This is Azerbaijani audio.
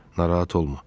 Narahat olma.